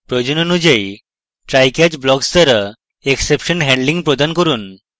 প্রয়োজন অনুযায়ী trycatch blocks দ্বারা exception handling প্রদান করুন